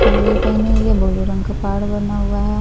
साड़ियां पहनी हुई है बोलो रंग का पाड़ बना हुआ है।